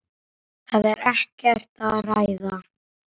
Það er ekkert að ræða.